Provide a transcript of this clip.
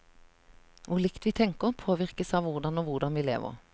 Hvor likt vi tenker, påvirkes av hvor og hvordan vi lever.